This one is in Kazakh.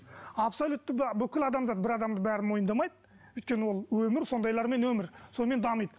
абсолютті бүкіл адамзат бір адамды бәрі мойындамайды өйткені ол өмір сондайлармен өмір сонымен дамиды